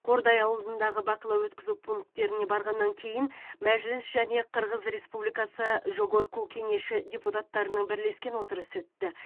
қордай ауылындағы бақылау өткізу пункттеріне барғаннан кейін мәжіліс және қырғыз республикасы жогорку кенеші депутаттарының бірлескен отырысы өтті